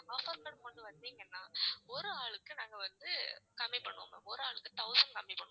offer card கொண்டு வந்தீங்கன்னா ஒரு ஆளுக்கு நாங்க வந்து கம்மி பண்ணுவோம் ma'am ஒரு ஆளுக்கு thousand கம்மி பண்ணுவோம்.